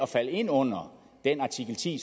falder ind under artikel ti